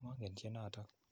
Mongen tyenotok.